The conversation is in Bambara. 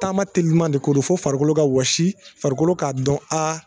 Taama teliman de ko fo farikolo ka wɔsi farikolo k'a dɔn a